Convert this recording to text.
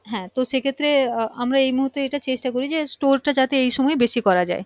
হ্যাঁ তো সেই ক্ষত্রে আহ আমরা এই মুহূর্তে এটা চেষ্টা করি যে store টা যাতে এই সময়ে বেশি করা যায়